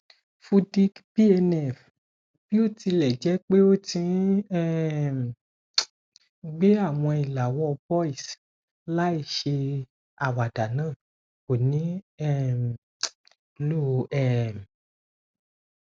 fudic bnf botilẹjẹpe o ti n um gbẹ awọn ilàwọ boils láìṣe àwáda naa ko ni um lo um